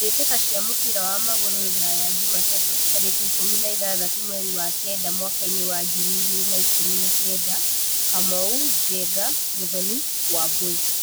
Mbĩ tĩ ka cia mũbira wa magũrũ Ruraya Jumatatu tarĩ ki ikũmi na ithathatũ mweri wa kenda mwakainĩ wa ngiri igĩ rĩ na ikũmi na kenda: Kamau, Njenga, Muthoni, Wambui.